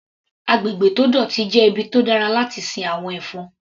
Agbègbè tó dọ̀tí jẹ́ ibi tó dára láti sin àwọn ẹ̀fọn.